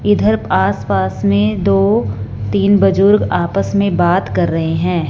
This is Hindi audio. इधर आसपास में दो तीन बुजुर्ग आपस में बात कर रहे हैं।